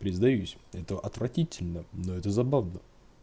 признаюсь это отвратительно но это забавно